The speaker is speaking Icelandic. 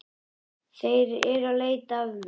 Þeir eru að leita að mér